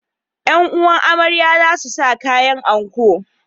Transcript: ’Yan’uwan amarya za su sa kayan anko.